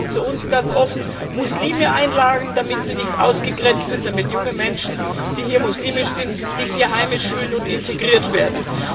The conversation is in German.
Ich sage es auch zu uns ganz offen Muslime einladen, damit sie nicht ausgegrenzt sind, damit junge Menschen, die muslimisch sind, sich hier heimisch fühlen und integriert werden.